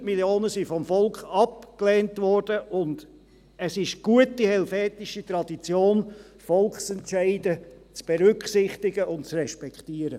100 Mio. Franken wurden vom Volk abgelehnt, und es ist gute helvetische Tradition, Volksentscheide zu berücksichtigen und zu respektieren.